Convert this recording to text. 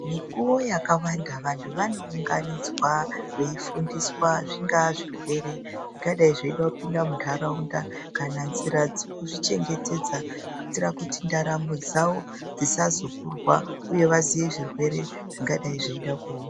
Mukuwo wakanda vantu vanounganidzwa veifundiswa zvingava zvirwere zvingadai zveida kupinda munharaunda kana njira dzekuzvichengetedza vanodetsera kuti ndaramo dzawo dzisazokurwa uye vazive zvirwere zvingadai zveida kuuya.